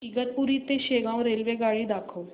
इगतपुरी ते शेगाव रेल्वेगाडी दाखव